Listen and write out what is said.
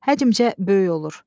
Həcmcə böyük olur.